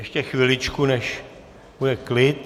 Ještě chviličku, než bude klid.